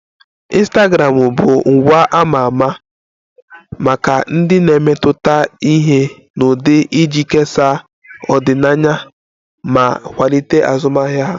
Ịnstagramụ bụ ngwa a ma ama maka ndị na-emetụta ihe na ụdị iji kesaa ọdịnaya ma kwalite azụmahịa ha